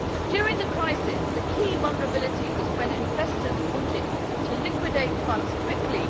During the crisis, the key vulnerability was when investors wanted to liquidate funds quickly.